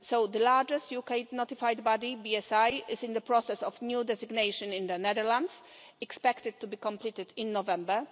The largest UK notified body, BSI, is in the process of new designation in the Netherlands this is expected to be completed in November.